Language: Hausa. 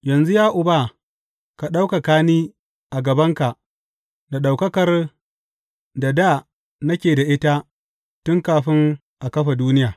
Yanzu ya Uba, ka ɗaukaka ni a gabanka da ɗaukakar da dā nake da ita tun kafin a kafa duniya.